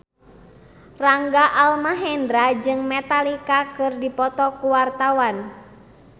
Rangga Almahendra jeung Metallica keur dipoto ku wartawan